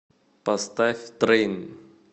поставь трейн